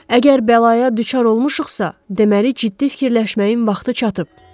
Əgər bəlaya düçar olmuşuqsa, deməli ciddi fikirləşməyin vaxtı çatıb.